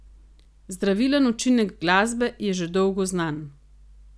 Zdravilen učinek glasbe je že dolgo znan.